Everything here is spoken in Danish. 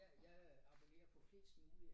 Jeg jeg øh abonnerer på fleste mulige